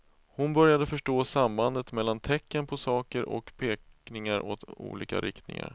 Hon började förstå sambandet mellan tecken på saker och pekningar åt olika riktningar.